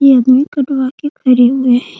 ये आदमी कटवा के खड़े हुए है।